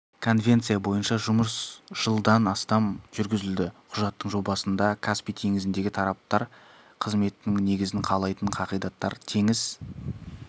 конвенция бойынша жұмыс жылдан астам жүргізілді құжаттың жобасында каспий теңізіндегі тараптар қызметінің негізін қалайтын қағидаттар теңіз